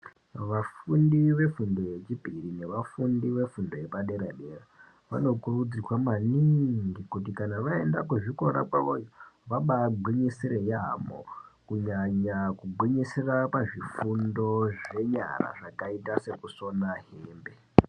Vafundi vefundo yechipiri nevafundi vefundo yepadera-dera vanokurudzirwa maningi kuti kana vaenda kuzvikora kwavoyo vambaagwinyisira yamho kunyanya kugwinyisira pazvifundo zvenyara zvakaita sekusona hembe.